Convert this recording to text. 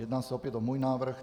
Jedná se opět o můj návrh.